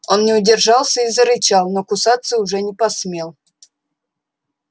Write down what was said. он не удержался и зарычал но кусаться уже не посмел